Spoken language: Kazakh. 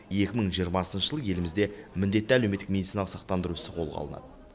екі мың жиырмасыншы жылы елімізде міндетті әлеуметтік медициналық сақтандыру ісі қолға алынады